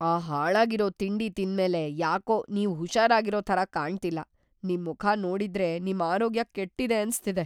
ಆ ಹಾಳಾಗಿರೋ ತಿಂಡಿ ತಿಂದ್ಮೇಲೆ ಯಾಕೋ ನೀವ್‌ ಹುಷಾರಾಗಿರೋ ಥರ ಕಾಣ್ತಿಲ್ಲ. ನಿಮ್ ಮುಖ ನೋಡಿದ್ರೆ ನಿಮ್ ಆರೋಗ್ಯ ಕೆಟ್ಟಿದೆ ಅನ್ಸ್ತಿದೆ.